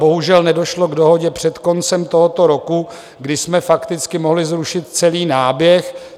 Bohužel, nedošlo k dohodě před koncem tohoto roku, kdy jsme fakticky mohli zrušit celý náběh.